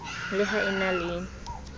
le ha e na le